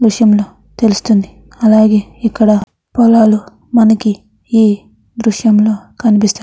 ఈ దృశ్యం లో తెలుస్తుంది అలాగే ఇక్కడ పొలాలు మనకి ఈ దృశ్యం లో కనిపిస్తుం --